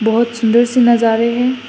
बहोत सुंदर सी नजारे हैं।